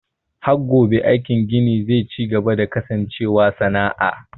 HHat ggone aikin gini ze cigaba da kasancewa sana'a.